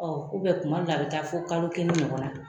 Ɔɔ kuma dɔw la a be taa fo kalo kelen ɲɔgɔn na.